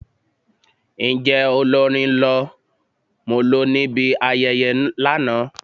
Njẹ olórin lọ molo nibi ayẹyẹ lana?